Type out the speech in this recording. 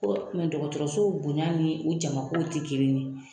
O tun dɔgɔtɔrɔsow bonya ni u jamako tɛ kelen ye